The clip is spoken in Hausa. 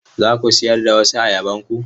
Za ku sayar da wasu ayabanku?